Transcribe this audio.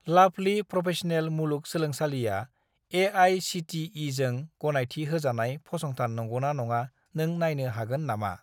लाभलि professional मुलुग सोलोंसालिआ ए.आइ.सि.टि.इ.जों गनायथि होजानाय फसंथान नंगौना नङा नों नायनो हागोन नामा?